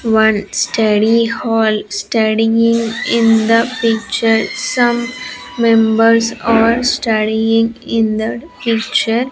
one study hall studying in the picture some members are studying in that picture.